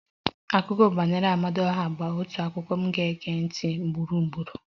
Akụkọ banyere Amadioha bụ otu akụkọ m ga-ege ntị ugboro ugboro